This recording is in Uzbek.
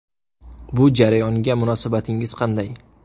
Bu jarayonga munosabatingiz qanday?